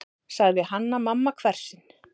sagði Hanna-Mamma hvefsin.